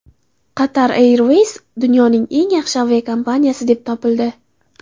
Qatar Airways dunyoning eng yaxshi aviakompaniyasi deb topildi.